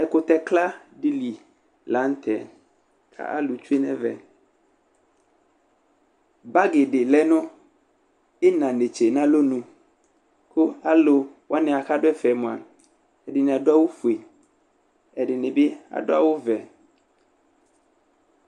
Ɛkʋtɛkla dɩ li la nʋ tɛ, kʋ alʋ tsʋe nʋ ɛvɛ Bagɩ dɩ lɛ nʋ ɩna netse nʋ alɔnʋ Kʋ alʋ wanɩ bʋakʋ adʋ ɛfɛ yɛ mʋa, ɛdɩnɩ adʋ awʋfue, ɛdɩnɩ bɩ adʋ awʋvɛ